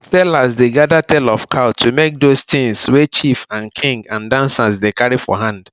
sellers dey gather tail of cow to make those tings wey chief and king and dancers dey carry for hand